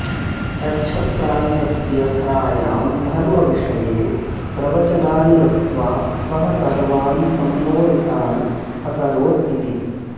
कच्छप्रान्तस्य धरायां धर्मविषये प्रवचनानि दत्त्वा सः सर्वान् सम्मोहितान् अकरोत् इति